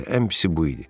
Bəli, ən pisi bu idi.